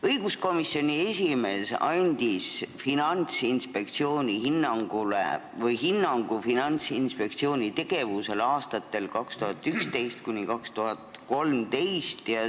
Õiguskomisjoni esimees andis hinnangu Finantsinspektsiooni tegevusele aastatel 2011–2013.